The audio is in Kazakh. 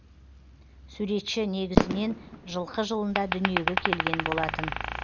суретші негізінен жылқы жылында дүниеге келген болатын